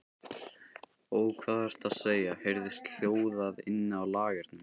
Ó, hvað ertu að segja, heyrðist hljóðað inni á lagernum.